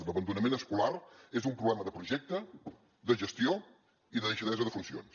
l’abandonament escolar és un problema de projecte de gestió i de deixadesa de funcions